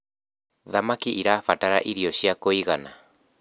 thamakĩ irabatara irio cia kũigana